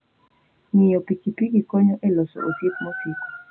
Ng'iyo pikipiki konyo e loso osiep masiko.